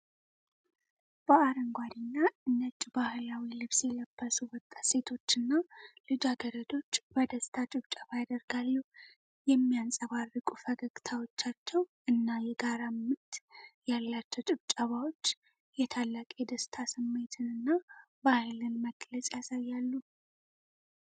በአረንጓዴና ነጭ ባህላዊ ልብስ የለበሱ ወጣት ሴቶችና ልጃገረዶች በደስታ ጭብጨባ ያደርጋሉ። የሚያንፀባርቁ ፈገግታዎቻቸው እና የጋራ ምት ያላቸው ጭብጨባዎች የታላቅ የደስታ ስሜትንና ባህልን መግለጽ ያሳያሉ።